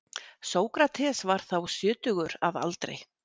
Sókrates var þá sjötugur að aldri.